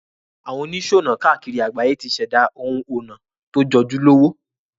Àwon onísònà kákìri àgbáyé ti sèdá oun onà to jojúlówó